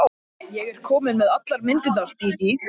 Ég er komin með allar myndirnar, Dídí.